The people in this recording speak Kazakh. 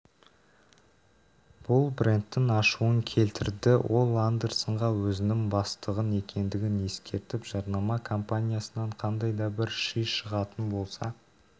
бұл брендтің ашуын келтірді ол андерсонға өзінің бастық екендігін ескертіп жарнама кампаниясынан қандай да бір ши шығатын болса